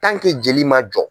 joli ma jɔ.